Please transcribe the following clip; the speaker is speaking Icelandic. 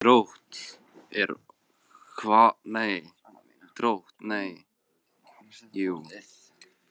Drótt, hvað er opið lengi í Kvikk?